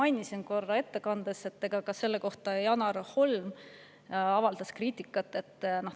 Aga nagu ma oma ettekandes mainisin, ka selle kohta on Janar Holm avaldanud kriitikat.